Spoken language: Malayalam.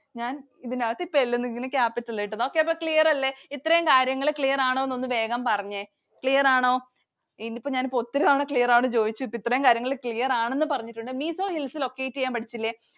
ഞാൻ ഇതിനകത്തു L നു Capital ന്നു ഇട്ടു. Okay. അപ്പൊ clear അല്ലെ? ഇത്രയും കാര്യങ്ങൾ clear ആണോ എന്ന് വേഗം പറഞ്ഞേ. Clear ആണോ? ഇതിപ്പോ ഞാൻ ഒത്തിരി തവണ clear ആണോ എന്ന് ചോദിച്ചിട്ട് ഇത്രയും കാര്യങ്ങൾ clear ആണെന്ന് പറഞ്ഞിട്ടുണ്ട്. Mizo Hills locate ചെയ്യാൻ പഠിച്ചില്ലേ?